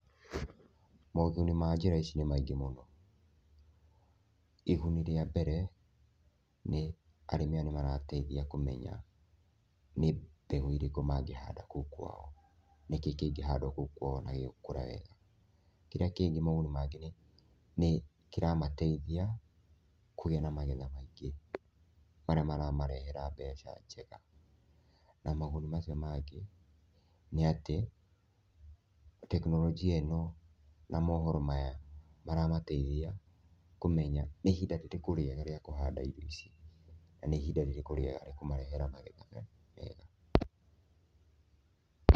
Moguni ma njĩra ici nĩ maingĩ mũno. Iguni rĩa mbere, nĩ, arĩmi aya nĩmarateithia kũmenya nĩ mbegũ irekũ mangĩhanda kũu kwao, nĩ kĩ kĩngĩhandwo kũu kwao na gĩkũre wega. Kĩrĩa kĩngi moguni mangĩ nĩ kĩramateithia kũgĩa na magetha maingĩ marĩa maramarehera mbeca njega. Na moguni macio mangĩ nĩ atĩ, tekinoronjĩ ĩno na mohoro maya maramateithia kũmenya nĩ ĩhinda rĩrĩkũ rĩega rĩa kũhanda irio ici, na nĩ ihinda rĩrĩkũ rĩega rĩa kũmarehera magetha mega.